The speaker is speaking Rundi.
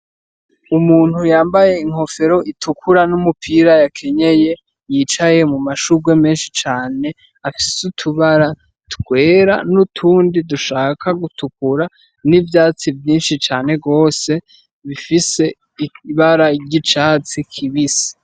Umuntu yambaye inkofero itukura n'umupira yakenyeye yicaye mumashugwe menshi cane afise utubara twera n'utundi dushaka gutukura n'ivyatsi vyinshi cane gose bifise ibara ry'icatsi kibisi.